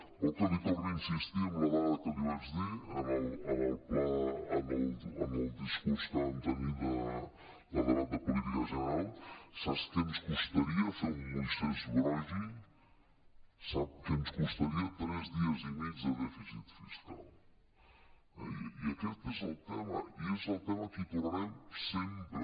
vol que li torni a insistir amb la dada que li vaig dir en el discurs que vam tenir de debat de política general saps què ens costaria fer un moisès broggi sap què ens costaria tres dies i mig de dèficit fiscal eh i aquest és el tema i és el tema al que hi tornarem sempre